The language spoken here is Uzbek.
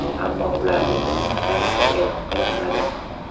Ammo ularning ism-sharifi e’lon qilinmadi.